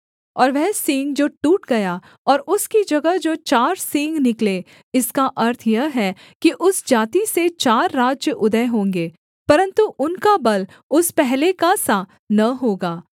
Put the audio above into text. और वह सींग जो टूट गया और उसकी जगह जो चार सींग निकले इसका अर्थ यह है कि उस जाति से चार राज्य उदय होंगे परन्तु उनका बल उस पहले का सा न होगा